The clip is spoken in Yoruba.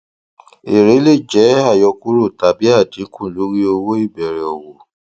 èrè lè jẹ àyọkúrò tàbí àdínkù lórí owó ìbẹrẹ òwò